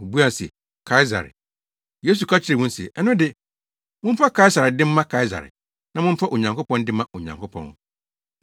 Wobuaa se, “Kaesare.” Yesu ka kyerɛɛ wɔn se, “Ɛno de, momfa Kaesare de mma Kaesare, na momfa Onyankopɔn de mma Onyankopɔn.”